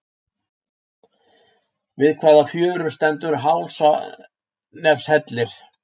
Við hvaða fjöru stendur Hálsanefshellir?